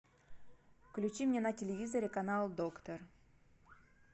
включи мне на телевизоре канал доктор